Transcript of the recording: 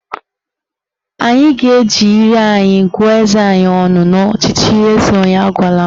Anyị ga-eji ire anyị gụọ eze anyị ọnụ n'ọchịchị eze onye agwala m